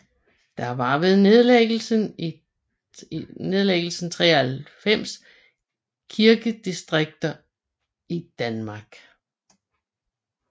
Der var ved nedlæggelsen 93 kirkedistrikter i Danmark